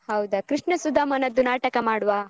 ಹೌದ, ಕೃಷ್ಣ ಸುಧಾಮನದ್ದು ನಾಟಕ ಮಾಡ್ವ?